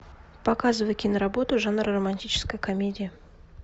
показывай киноработу жанр романтическая комедия